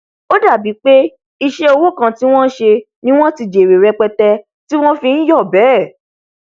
ó dàbí pé iṣẹ òwò kan tí wọn sẹ ni wọn ti jèrè rẹpẹtẹ ti wọn fi nyọ bẹẹ